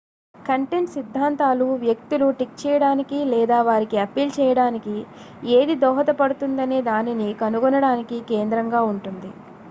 content సిద్ధాంతాలు వ్యక్తులు tick చేయడానికి లేదా వారికి అప్పీల్ చేయడానికి ఏది దోహదపడుతుందనే దానిని కనుగొనడానికి కేంద్రంగా ఉంటుంది